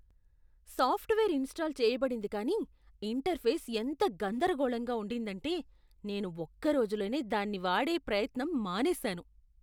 Software install చేయబడింది కానీ interface ఎంత గందరగోళంగా ఉండిందంటే నేను ఒక్క రోజులోనే దాన్ని వాడే ప్రయత్నం మానేసాను.